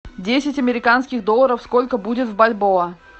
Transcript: десять американских долларов сколько будет в бальбоа